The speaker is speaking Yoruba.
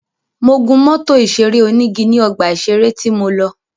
Mo gún mọ́tò ìṣeré onígi ní ọgbà ìṣeré tí mo lọ.